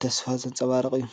ተስፋን ዘንፀባርቕ እዩ።